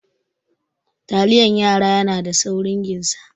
Taliyan yara yana da saurin ginsa.